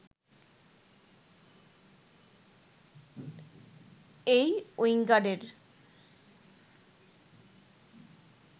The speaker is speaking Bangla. এই উইঙ্গারের